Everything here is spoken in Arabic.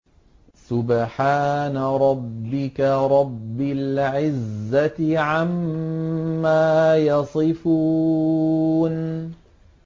سُبْحَانَ رَبِّكَ رَبِّ الْعِزَّةِ عَمَّا يَصِفُونَ